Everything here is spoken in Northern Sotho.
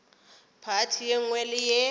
phathi ye nngwe le ye